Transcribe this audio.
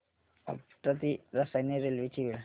आपटा ते रसायनी रेल्वे ची वेळ